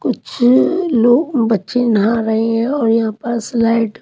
कुछ लोग बच्चे नहा रहे हैं और यहाँ पास लाइट --